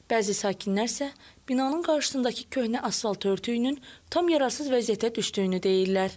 Bəzi sakinlər isə binanın qarşısındakı köhnə asfalt örtüyünün tam yararsız vəziyyətə düşdüyünü deyirlər.